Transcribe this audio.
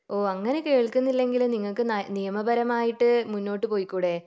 ഓഹ് അങ്ങിനെ കേൾകുന്നില്ലെങ്കിൽ നിങ്ങൾക്ക് നിയമപരമായിട്ട് മുന്നോട്ട് പൊയ്ക്കൂടേ